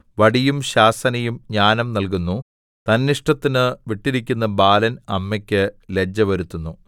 വടിയും ശാസനയും ജ്ഞാനം നല്കുന്നു തന്നിഷ്ടത്തിനു വിട്ടിരിക്കുന്ന ബാലൻ അമ്മയ്ക്ക് ലജ്ജ വരുത്തുന്നു